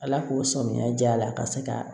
Ala k'o sɔmiya diy'a la ka se ka